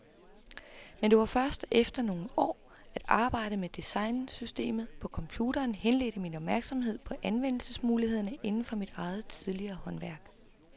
Men det var først efter nogle år, at arbejdet med designsystemer på computeren henledte min opmærksomhed på anvendelsesmulighederne inden for mit eget tidligere håndværk.